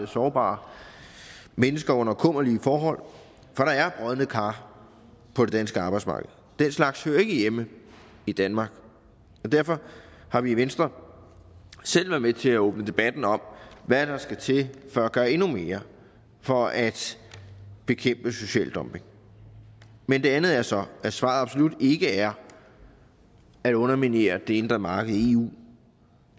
sårbare mennesker under kummerlige forhold for der er brodne kar på det danske arbejdsmarked den slags hører ikke hjemme i danmark derfor har vi i venstre selv været med til at åbne debatten om hvad der skal til for at gøre endnu mere for at bekæmpe social dumping men det andet er så at svaret absolut ikke er at underminere det indre marked i eu